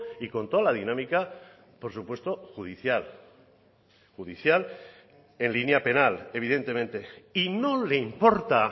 y con toda la dinámica por supuesto judicial judicial en línea penal evidentemente y no le importa